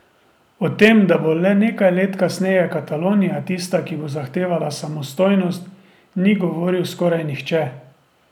O tem, da bo le nekaj let kasneje Katalonija tista, ki bo zahtevala samostojnost, ni govoril skoraj nihče.